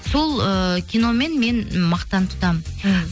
сол ыыы киномен мен мақтан тұтамын мхм